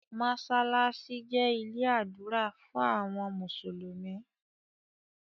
masalasi jé ilé ádùrá fún àwọn mùsùlùmí.